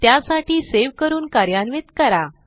त्यासाठी सेव्ह करून कार्यान्वित करा